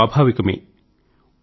అది స్వాభావికమే